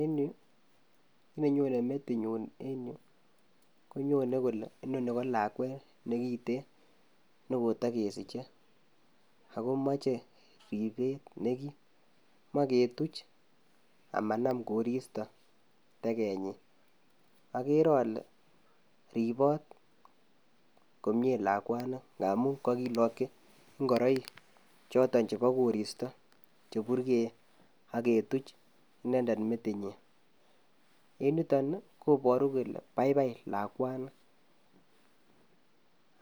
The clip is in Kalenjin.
En yuu konenyone metinyun en yu konyone kole inoni ko lakwet nekiten nekotokesiche ak komoche ribet nekim, moe ketuch amanam koristo tekenyin, akere olee riboot komnye lakwani ng'amun kokilokyi ing'oroik choton chebo koristo cheburkeen ak ketuch inendet metinyin, en yuton ii koboru kelee baibai lakwani